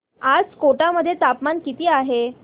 आज कोटा मध्ये तापमान किती आहे